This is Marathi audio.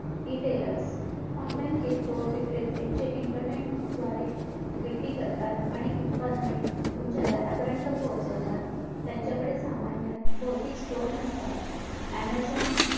retailer online किरकोळ विक्रते जे internet द्वारे विक्री करतात आणि उत्पादने तुमच्या दारापर्यत पोहचवतात त्यांच्याकडे सामान्य बहुतेक stoer नसतात amazon